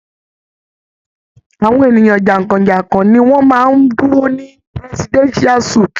Awọn eniyan jankọjankọ ni wọn maá ń duro ni Presidential suit.